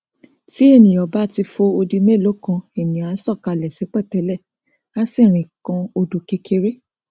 tí ènìà bá ti fo odi mélòó kan ènìà á sọ kalẹ sí pẹtẹlẹ á sì rìn kan odò kékeré